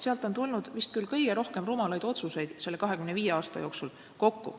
Sealt on tulenenud vist küll kõige rohkem rumalaid otsuseid selle 25 aasta jooksul kokku.